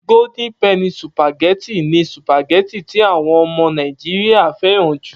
Gódín pẹnì sùpàgẹ́tì ni sùpàgẹ́tì tí àwon ọmọ Nàìjíríà fẹ́ràn jù.